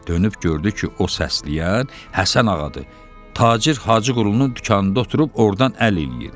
Dönüb gördü ki, o səsləyən Həsən Ağadır, tacir Hacıqulunun dükanında oturub ordan əl eləyir.